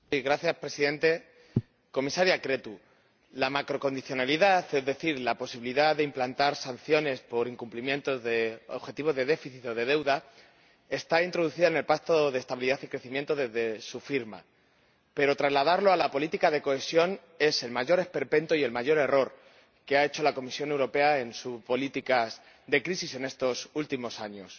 Señor Presidente comisaria Creţu, la macrocondicionalidad, es decir, la posibilidad de implantar sanciones por incumplimientos de objetivos de déficit o de deuda, está introducida en el Pacto de Estabilidad y Crecimiento desde su firma, pero trasladarlo a la política de cohesión es el mayor esperpento y el mayor error que ha cometido la Comisión Europea en sus políticas de crisis en estos últimos años.